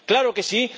Claro que sí.